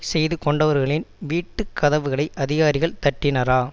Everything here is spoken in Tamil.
செய்து கொண்டவர்களின் வீட்டு கதவுகளை அதிகாரிகள் தட்டினரா